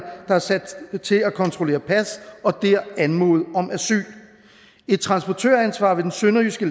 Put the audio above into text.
der er sat til at kontrollere pas og dér anmode om asyl et transportøransvar ved den sønderjyske